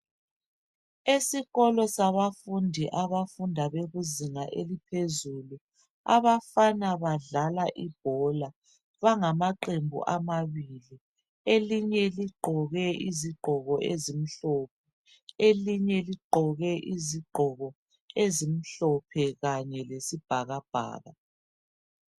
Esikolo sabafundi abafunda bekuzinga elaphezulu, abafana badlala ibhola. Bangamaqembu amabili elinye ligqoke izigqoko ezimhlophe elinye ligqoke izigqoko ezimhlophe kanye lesibhakabhaka.